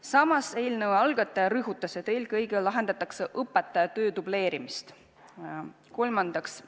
Samas, eelnõu algataja rõhutas, et eelkõige lahendatakse õpetaja töö dubleerimise probleemi.